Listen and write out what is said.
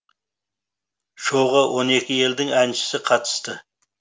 шоуға он екі елдің әншісі қатысты